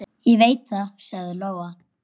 Ég veit það, sagði Lóa.